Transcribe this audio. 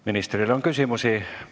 Ministrile on küsimusi.